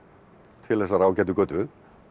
til þessarar ágætu götu